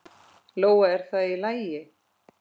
Lóa: Er það í lagi?